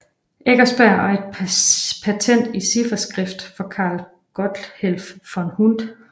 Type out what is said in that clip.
Eckersberg og et patent i cifferskrift for Karl Gotthelf von Hund